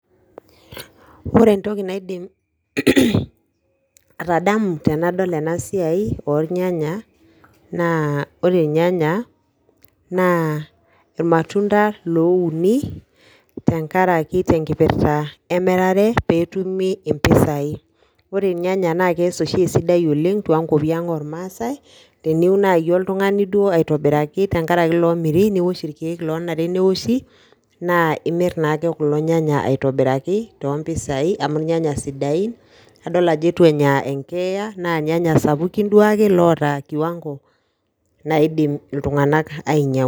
Ore entoki naidim atadamu tenadol enasiai ornyanya, naa ore irnyanya naa irmatunda louni, tenkaraki tenkipirta emirare petumi impisai. Ore irnyanya na kees oshi esidai oleng tonkwapi ang ormaasai, teniun nai oltung'ani duo aitobiraki tenkaraki lomiri, niwosh irkeek lonare newoshi, naa imir naake kulo nyanya aitobiraki, tompisai amu irnyanya sidain, nadol ajo itu enya enkeeya na irnyanya sapukin duo ake loota kiwango naidim iltung'anak ainyang'u.